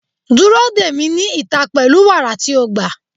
Dúró dè mí ní ìta pẹ̀lú wàrà tí o gbà.